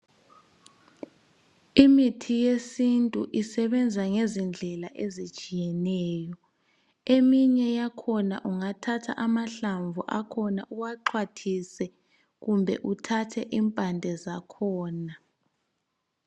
Imithi yesintu isebenza ngezindlela ezitshiyeneyo. Eminye yakhona ungathatha amahlamvu akhona uwaxhwathise kumbe uthathe impande zakhona.